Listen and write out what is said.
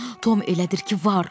Tom elədir ki, var.